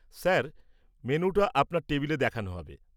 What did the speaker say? Sir, মেনুটা আপনার টেবিলে দেখানো হবে।